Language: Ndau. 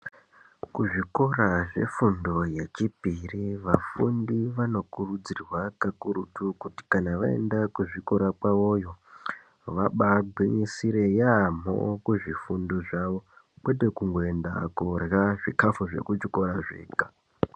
Kuzvikora zvefundo yechipiri, vafundi vanokurudzirwa kakurutu kuti kana vaenda kuzvikora kwavo vabagisire yamo kuzvifundo zvavo kwete kungoyenda kudla zvikafu zvekuchikora zvega.